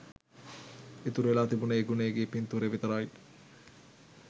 ඉතුරු වෙලා තිබුණේ ගුණේ ගේ පින්තූරය විතරයි